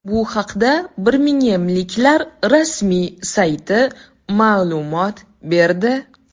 Bu haqda birmingemliklar rasmiy sayti ma’lumot berdi.